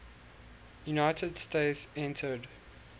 united states entered